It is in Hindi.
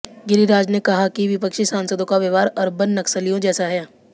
गिरिराज ने कहा कि विपक्षी सांसदों का व्यवहार अर्बन नक्सलियों जैसा हैं